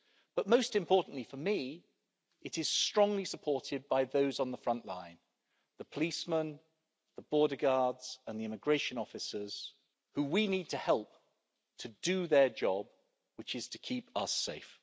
But most importantly for me, it is strongly supported by those on the front line the policemen, the border guards and the immigration officers, who we need to help to do their job, which is to keep us safe.